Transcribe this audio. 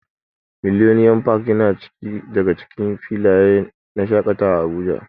Millennium park yana daga cikin filayen shaƙatawa a Abuja.